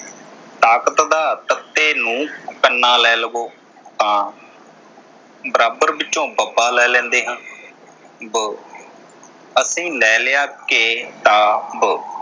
ਤਾਕਤ ਦਾ ਤ ਨੂੰ ਕੰਨਾ ਲੈ ਲਵੋ ਤਾ ਬਰਾਬਰ ਵਿਚੋਂ ਬ ਲੈ ਲੈਦੇ ਹਾਂ ਬ ਅਤੇ ਲੈ ਲਿਆ ਕੇ ਕਿਤਾਬ